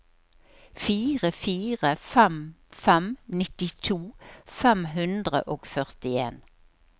fire fire fem fem nittito fem hundre og førtien